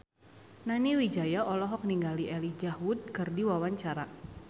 Nani Wijaya olohok ningali Elijah Wood keur diwawancara